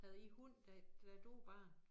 Havde I hund da da du var barn?